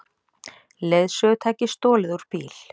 Leiðsögutæki stolið úr bíl